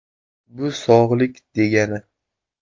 “Bu sog‘lik degani.